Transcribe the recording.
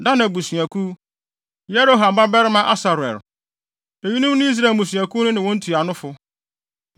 Dan abusuakuw: Yeroham babarima Asarel. Eyinom ne Israel mmusuakuw no ne wɔn ntuanofo.